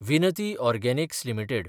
विनती Organics limited